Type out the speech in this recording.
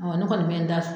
Ɔ ne kɔni bɛ n da